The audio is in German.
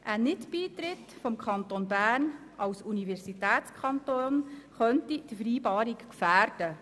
Ein Nicht-Beitritt des Kantons Bern als Universitätskanon könnte die Vereinbarung gefährden.